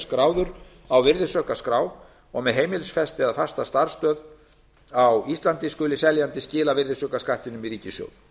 skráður á virðisaukaskattsskrá og með heimilisfesti eða fasta starfsstöð á íslandi skuli seljandi skila virðisaukaskattinum í ríkissjóð